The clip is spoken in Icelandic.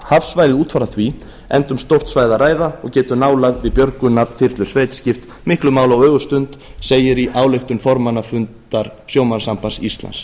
hafsvæðið út frá því enda um stórt svæði að ræða og getur nálægð við björgunarþyrlusveit skipt miklu máli á ögurstund segir í ályktun formannafundur sjómannasambands íslands